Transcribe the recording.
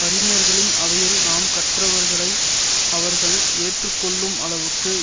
அறிஞர்களின் அவையில் நாம் கற்றவைகளை அவர்கள் ஏற்று கொள்ளும் அளவுக்கு